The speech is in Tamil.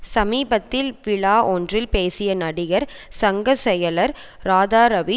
சமீபத்தில் விழா ஒன்றில் பேசிய நடிகர் சங்க செயலர் ராதாரவி